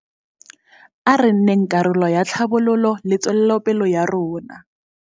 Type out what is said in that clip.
A re nneng karolo ya tlhabololo le tswelopele ya rona.